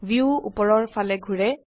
view উপৰৰফালে ঘোৰে